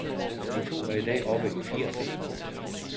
De to er i dag oppe i firserne.